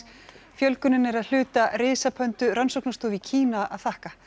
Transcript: fjölgunin er að hluta rannsóknarstofu í Kína að þakka